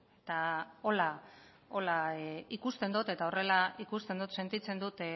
eta horrela ikusten dut sentitzen dut